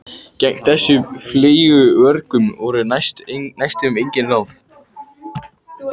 Gegn þessum fleygu vörgum voru næstum engin ráð.